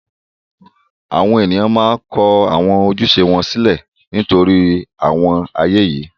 àwọn ènìyàn máa kọ àwọn ojúṣe wọn sílẹ̀ nítorí àwọn ààyè yìí.